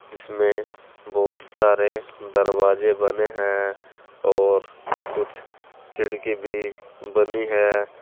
जिसमें बहुत सारे दरवाजे बने हैं और कुछ खिड़की भी बनी है।